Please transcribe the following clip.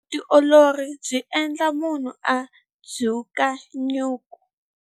Vutiolori byi endla munhu a dzuka nyuku.